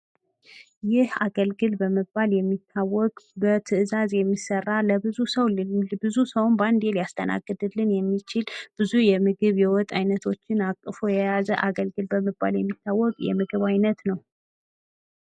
ይህ አገልግል በመባል የሚታወቅ በትእዛዝ የሚሰራ ለብዙ ሰው የሚሆን ብዙ ሰው በአንዴ ሊያስተናግድልን የሚችል ብዙ የምግብ የወጥ ዓይነቶችን አቅፎ የያዘ አገልግል በመባል የሚታወቅ የ ምግብ ዓይነት ነው።